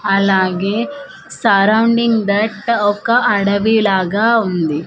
అలాగే surrounding that ఒక అడవి లాగా ఉంది.